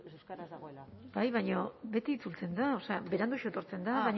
euskaraz dagoela bai baina beti itzultzen da beranduxeago etortzen da